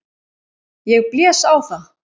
Ég blés á það.